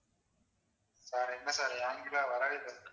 sir என்ன sir என்கிட்ட வரவே இல்ல